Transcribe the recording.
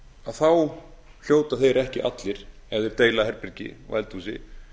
þá hljóta þeir ekki allir ef þeir deilda herbergi og eldhúsi